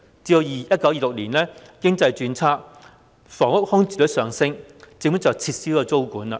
及至1926年經濟轉差，房屋空置率上升，政府遂撤銷租務管制。